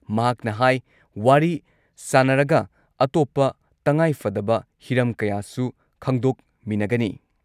ꯃꯍꯥꯛꯅ ꯍꯥꯏ ꯋꯥꯔꯤ ꯁꯥꯟꯅꯔꯒ ꯑꯇꯣꯞꯄ ꯇꯉꯥꯏꯐꯗꯕ ꯍꯤꯔꯝ ꯀꯌꯥꯁꯨ ꯈꯪꯗꯣꯛꯃꯤꯟꯅꯒꯅꯤ ꯫